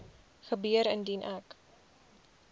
gebeur indien ek